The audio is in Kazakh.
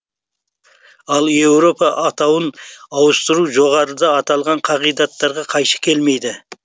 ал елорда атауын ауыстыру жоғарыда аталған қағидаттарға қайшы келмейді